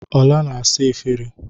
Ọla na-asa efere